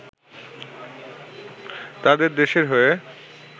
তাদের দেশের হয়ে